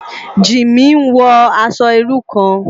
Jimi n wò aṣò irú kán